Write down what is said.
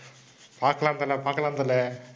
பாக்கலாம் தல, பாக்கலாம் தல.